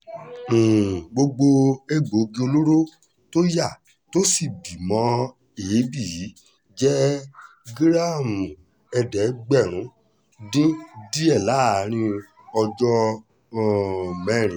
um gbogbo egbòogi olóró tó yá tó sì bí mọ́ èébì yìí jẹ́ gíráàmù ẹ̀ẹ́dẹ́gbẹ̀rún dín díẹ̀ láàrin ọjọ́ um mẹ́rin